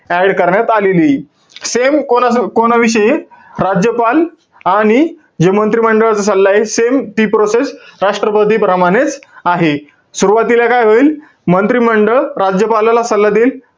जाहीर करण्यात आलेलीय. Same कोणाचं~ कोणाविषयी? राज्यपाल आणि जे मंत्रिमंडळचा सल्लाय same हि process राष्ट्रपतीप्रमाणेच आहे. सुरवातीला काय होईल? मंत्रिमंडळ राज्यपालाला सल्ला देईल.